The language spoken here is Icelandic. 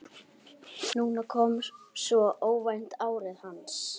Núna kom svo óvænt árið hans.